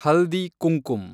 ಹಲ್ದಿ Kumkum